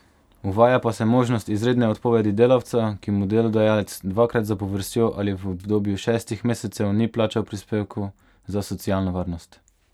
Uvaja pa se možnost izredne odpovedi delavca, ki mu delodajalec dvakrat zapovrstjo ali v obdobju šestih mesecev ni plačal prispevkov za socialno varnost.